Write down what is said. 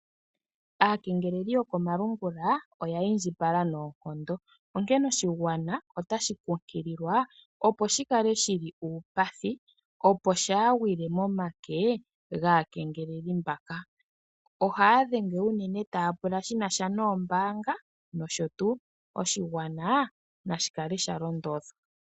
Aakengeeleli yokomalungula oya indjipala noonkondo, oonkene oshigwana otashi kunkililwa, opo shi kale shili uupathi, opo shaa gwile momake gaakengeleli mbaka. Ohaya dhenge uunene taya pula shina sha nombaanga nosho tuu. Oshigwana nashi kale sha londodhwa.